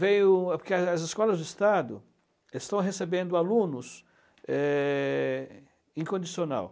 veio, porque as escolas do Estado estão recebendo alunos é em condicional.